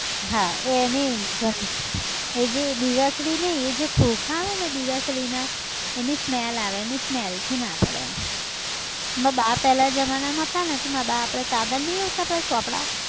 હા, એની ઘં, એ જે દીવાસળી નઈ એ જે ખોખા આવે ને દીવાસળી ના એની smell આવે એની smell થી ના પડે એમ, મારા બા પહેલાં જમાના માં હતા ન તો મારા બા આપડે કાગળ નઈ આવતા આપણે પેલા ચોપડા